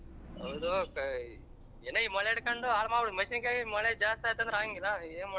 ಹೌದು ಏನೋ ಈ ಮಳೆ ಇಡಕೋಂಡು ಹಾಲ್ಮಡ್ ಮೆಣಸಿನಕಾಯಿ ಮಳೆ ಜಾಸ್ತಿ ಅಂತಂದ್ರೆ ಆಗಂಗಿಲ್ಲ ಏನ ಮಾಡ್ತಿ.